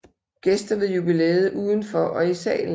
Gæster ved jubilæet udenfor og i salen